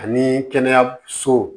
Ani kɛnɛyasow